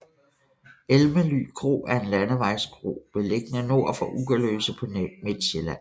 Elmely Kro er en landevejskro beliggende nord for Ugerløse på Midtsjælland